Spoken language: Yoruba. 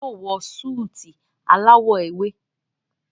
Òún yóò wọ Súìtì alawọ ewe.